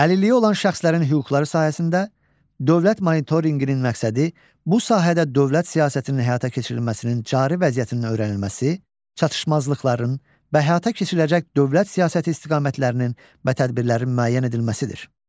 Əlilliyi olan şəxslərin hüquqları sahəsində dövlət monitorinqinin məqsədi bu sahədə dövlət siyasətinin həyata keçirilməsinin cari vəziyyətinin öyrənilməsi, çatışmazlıqların və həyata keçiriləcək dövlət siyasəti istiqamətlərinin və tədbirlərin müəyyən edilməsidir.